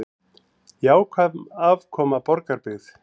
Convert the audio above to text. Jákvæð afkoma í Borgarbyggð